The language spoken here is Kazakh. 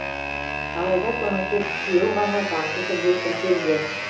алайда соның тек үшеуі ғана заңды түрде тіркелген